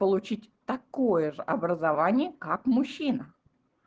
получить такое же образование как мужчина